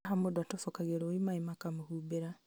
haha mũndũ atobokagio rũĩ maĩ makamũhumbĩra